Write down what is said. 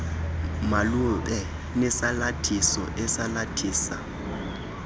malube nesalathiso esalathisa